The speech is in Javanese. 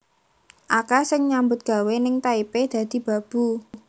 akeh sing nyambut gawe ning Taipei dadi babu